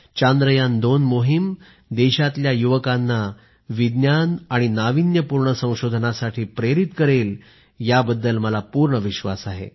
चांद्रयान2 मोहीम देशातल्या युवकांना विज्ञान आणि नाविन्यपूर्ण संशोधनाला प्रेरित करेल याचा मला पूर्ण विश्वास आहे